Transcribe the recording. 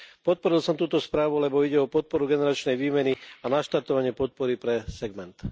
Podporil som túto správu, lebo ide o podporu generačnej výmeny a naštartovanie podpory pre segment.